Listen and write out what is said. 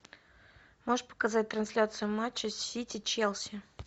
можешь показать трансляцию матча сити челси